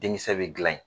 Denkisɛ bɛ gilan in